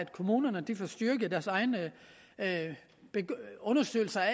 kommunerne får styrket deres egne undersøgelser af